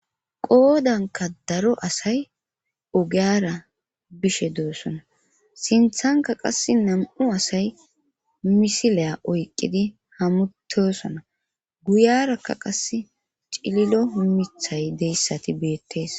Qoodanka daro asay ogiyara bishe doossona sinthanka qass nam7u asay misileya oyqqidi hamutosona guyarakka qas cililo mithay deyssati beettees.